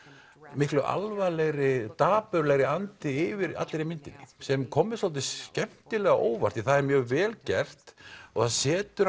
miklu alvarlegri dapurlegri andi yfir allri myndinni sem kom mér dálítið skemmtilega á óvart því það er mjög vel gert og setur